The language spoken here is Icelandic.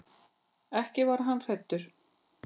Ekki var hann hræddur.